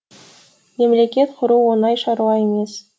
мемлекет құру оңай шаруа емес